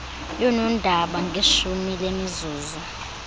yoonondaba ngeshumi lemizuzu